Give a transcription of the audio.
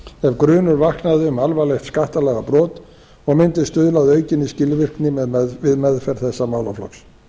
gagnaöflun ef grunur aflaði um alvarlegt skattalagabrot og mundi stuðla að aukinni skilvirkni við meðferð þessa málaflokks